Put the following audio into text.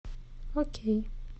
окей